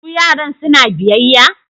Su yaran suna biyayya?